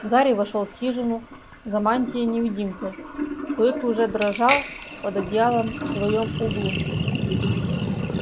гарри вошёл в хижину за мантией-невидимкой клык уже дрожал под одеялом в своём углу